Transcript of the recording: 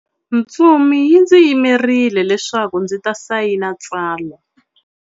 Ntsumi yi ndzi yimerile leswaku ndzi ta sayina tsalwa.